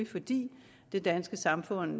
fordi det danske samfund